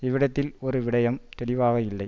இவ்விடத்தில் ஒரு விடையம் தெளிவாக இல்லை